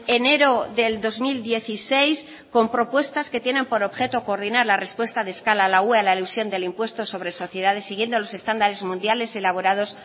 enero del dos mil dieciséis con propuestas que tienen por objeto coordinar la respuesta de escala de la ue a la elusión sobre sociedades siguiendo los estándares mundiales elaborados